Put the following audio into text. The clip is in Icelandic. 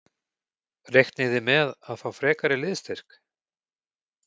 Reiknið þið með að fá frekari liðsstyrk?